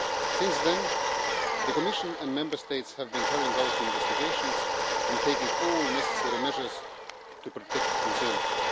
Since then, the Commission and the Member States have been carrying out investigations and taking all necessary measures to protect consumers.